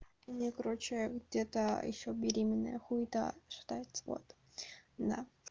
у меня короче где-то ещё беременная хуета шатается вот да